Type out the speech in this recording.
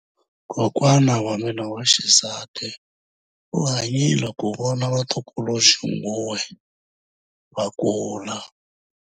Kokwa wa mina wa xisati u hanyile ku vona vatukuluxinguwe va kula.